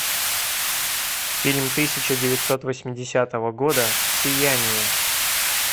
фильм тысяча девятьсот восьмидесятого года сияние